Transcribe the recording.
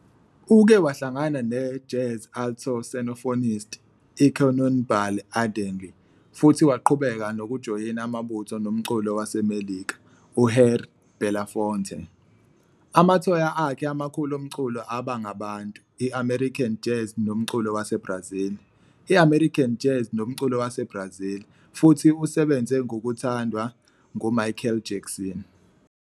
Uke wahlangana ne-jazz alto saxophonist, iCannonball Adderly, futhi waqhubeka nokujoyina amabutho nomculi waseMelika, uHarry Belafonte. Amathonya akhe amakhulu omculo aba ngabantu, i-American Jazz nomculo waseBrazil. i-American Jazz nomculo waseBrazil, futhi usebenze ngokuthandwa nguMichael Jackson.